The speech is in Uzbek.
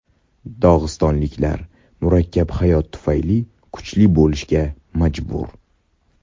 Dog‘istonliklar murakkab hayot tufayli kuchli bo‘lishga majbur”.